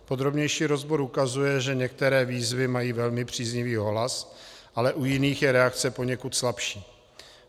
Podrobnější rozbor ukazuje, že některé výzvy mají velmi příznivý ohlas, ale u jiných je reakce poněkud slabší.